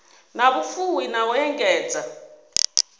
na vhufuwi na u engedza